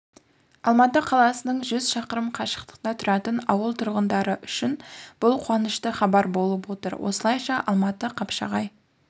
алматы қаласынан жүз шақырым қашықтықта тұратын ауыл тұрғындары үшін бұл қуанышты хабар болып отыр осылайша алматы-қапшағай